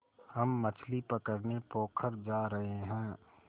हम मछली पकड़ने पोखर जा रहें हैं